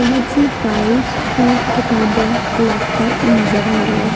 बहोत सी फाइल्स और किताबे लैपटॉप नजर आ रहा है।